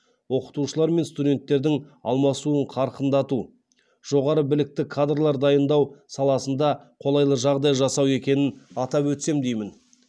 оқытушылар мен студенттердің алмасуын қарқындату жоғары білікті кадрлар дайындау саласында қолайлы жағдай жасау екенін атап өтсем деймін